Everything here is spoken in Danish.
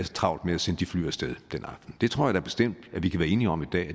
så travlt med at sende de fly af sted den aften det tror jeg da bestemt at vi kan være enige om i dag